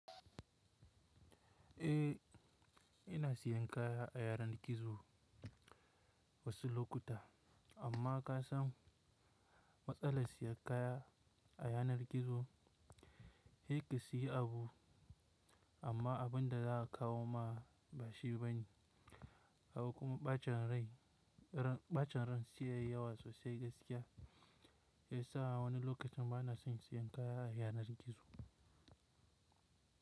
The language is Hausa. Eh, ina siyan kaya a yanar gizo wasu lokuta. Amma ka san, matsalar siyan kaya a yanar gizo, sai ƙa siyi abu amma abun da za a kawo ma bashi bane. Akwai kuma ɓacen rai, ɓacen ran siyayya wasu sai gaskiya. Shiyasa'a wani lokacin bana son siyan kaya a yanar gizo.